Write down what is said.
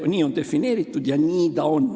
Nii on defineeritud ja nii ta on.